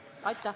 Aitäh!